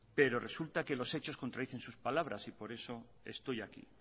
pero resulta que los hechos contradicen sus palabras y por eso estoy aquí